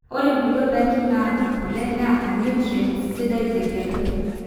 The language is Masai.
ore kule ondaiki naata kule neeta nutrients sidan tenkerai